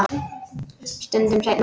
Stundum seinna.